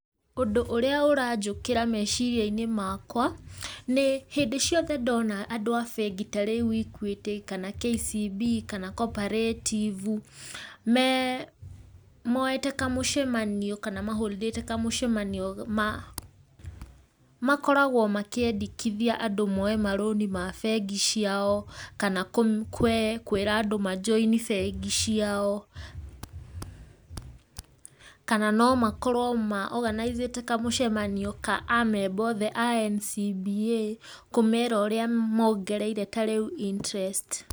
Ũndũ ũrĩa ũranjũkĩra meciria-inĩ makwa, nĩ hĩndĩ ciothe ndona andũ a bengi ta rĩu Equity kana KCB, kana Cooperative, me moete kamũcemanio kana mahorondĩte kamũcemanio, ma makoragwo makĩendekithia andũ moe marũni ma bengi ciao, kama kũ kwĩra andũ majoini bengi ciao, kana no makorwo maoganacĩte kamũcemanio ka amemba othe a NCBA, kũmera ũrĩa mongereire ta rĩu interest.